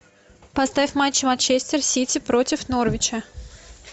поставь матч манчестер сити против норвича